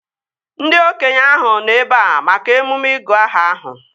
Ndị okenye ahụ nọ ebea maka emume ịgụ aha ahụ